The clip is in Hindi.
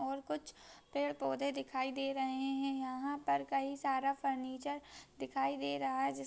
और कुछ पेड़ पौधे दिखाई दे रहे है यहाँ पर कई सारा फर्नीचर दिखाई दे रहा है जिस--